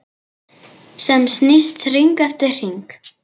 Sem snýst hring eftir hring.